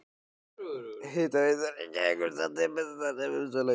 Hitaveita Reykjavíkur samdi við Bessastaðahrepp um sölu á heitu vatni.